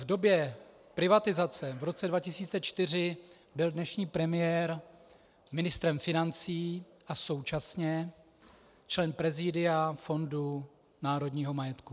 V době privatizace v roce 2004 byl dnešní premiér ministrem financí a současně členem prezídia Fondu národního majetku.